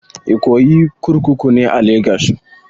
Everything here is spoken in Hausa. Ikoyi prison kurkuku ne a legas